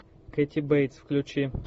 кэти бейтс включи